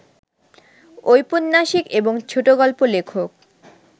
ঔপন্যাসিক এবং ছোটগল্প লেখক